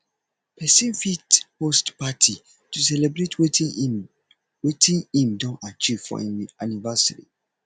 persin fit host party to celebrate wetin im wetin im don achieve or im anniversary